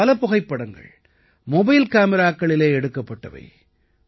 இதிலே பல புகைப்படங்கள் மொபைல் காமிராக்களிலே எடுக்கப்பட்டவை